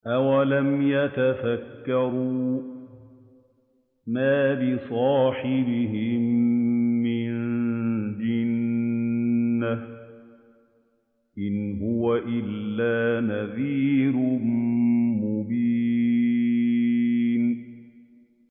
أَوَلَمْ يَتَفَكَّرُوا ۗ مَا بِصَاحِبِهِم مِّن جِنَّةٍ ۚ إِنْ هُوَ إِلَّا نَذِيرٌ مُّبِينٌ